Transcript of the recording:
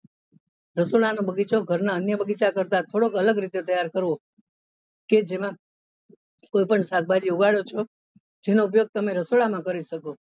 રસોડા નો બગીચો ઘર ના અન્ય બગીચા કરતા થોડોક અલગ રીતે તૈયાર કરવો કે જેમાં કોઈ પણ શાકભાજી ઉગાડો છો જેનો ઉપયોગ તમે રસોડા માં કરી શકો.